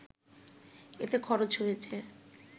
এতে খরচ হয়েছে